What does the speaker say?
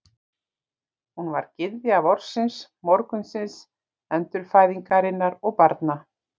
Hún var gyðja vorsins, morgunsins, endurfæðingarinnar og barna.